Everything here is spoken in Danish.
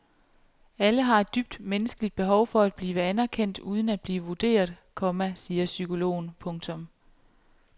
Alle har et dybt menneskeligt behov for at blive anerkendt uden at blive vurderet, komma siger psykologer. punktum